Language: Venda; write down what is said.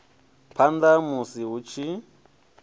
phanḓa ha musi hu tshi